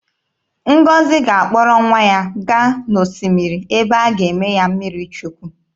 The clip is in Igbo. Ngọzi ga-akpọrọ nwa ya gaa n'osimiri ebe a ga-eme ya mmiri Chukwu.